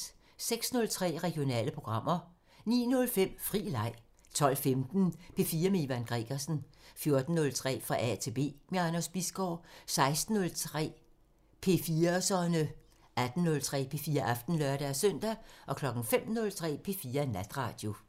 06:03: Regionale programmer 09:05: Fri Leg 12:15: P4 med Ivan Gregersen 14:03: Fra A til B – med Anders Bisgaard 16:03: P4'serne 18:03: P4 Aften (lør-søn) 05:03: P4 Natradio